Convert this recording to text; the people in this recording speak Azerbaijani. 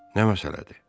Nə məsələdir?